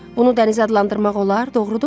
Bunu dəniz adlandırmaq olar, doğrumu?